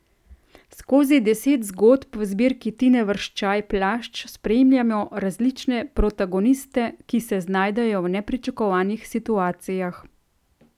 Skozi deset zgodb v zbirki Tine Vrščaj Plašč spremljamo različne protagoniste, ki se znajdejo v nepričakovanih situacijah.